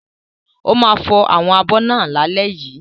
Ó ma fò àwọn abọ̀ náà lálẹ́ yìí.